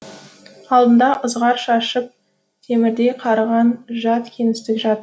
алдында ызғар шашып темірдей қарыған жат кеңістік